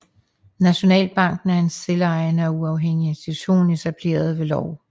Nationalbanken er en selvejende og uafhængig institution etableret ved lov